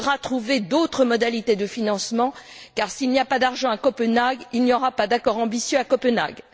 Il faudra trouver d'autres modalités de financement, car s'il n'y a pas d'argent à Copenhague, il n'y aura pas d'accord ambitieux à Copenhague.